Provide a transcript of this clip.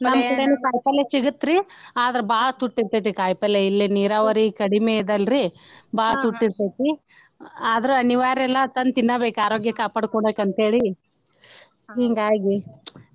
ನಮ್ ಕಡೆನು ಕಾಯಿಪಲ್ಲೆ ಸಿಗುತ್ರಿ ಆದ್ರ ಬಾಳ ತುಟ್ಟಿ ಇರ್ಥೈತಿ ಕಾಯಿಪಲ್ಲೆ ಇಲ್ಲಿ ನೀರಾವರಿ ಕಡಿಮೆ ಇದಲ್ರೀ ಬಾಳ ತುಟ್ಟಿ ಇರ್ತೇತಿ ಆದ್ರ ಅನಿವಾರ್ಯ ಅಲ್ಲಾ ತಂದ್ ತಿನ್ನಬೇಕ ಆರೋಗ್ಯ ಕಾಪಾಡ್ಕೊಬೇಕ ಅಂತ ಹೇಳಿ ಹಿಂಗಾಗಿ.